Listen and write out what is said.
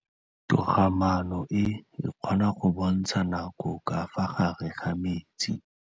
Toga-maanô e, e kgona go bontsha nakô ka fa gare ga metsi.